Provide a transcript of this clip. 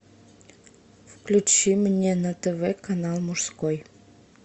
включи мне на тв канал мужской